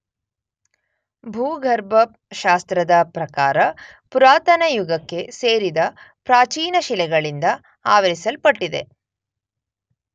ಭೂಗರ್ಭ ಶಾಸ್ತ್ರದ ಪ್ರಕಾರ ಪುರಾತನಯುಗಕ್ಕೆ ಸೇರಿದ ಪ್ರಾಚೀನಶಿಲೆಗಳಿಂದ ಆವರಿಸಲ್ಪಟ್ಟಿದೆ.